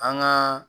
An gaa